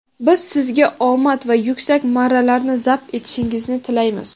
Biz sizga omad va yuksak marralarni zabt etishingizni tilaymiz.